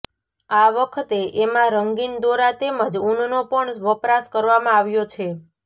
આ વખતે એમાં રંગીન દોરા તેમજ ઊનનો પણ વપરાશ કરવામાં આવ્યો છે